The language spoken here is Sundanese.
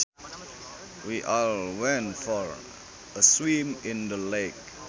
We all went for a swim in the lake